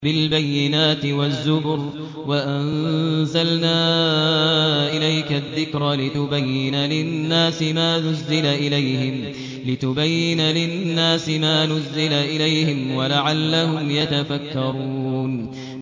بِالْبَيِّنَاتِ وَالزُّبُرِ ۗ وَأَنزَلْنَا إِلَيْكَ الذِّكْرَ لِتُبَيِّنَ لِلنَّاسِ مَا نُزِّلَ إِلَيْهِمْ وَلَعَلَّهُمْ يَتَفَكَّرُونَ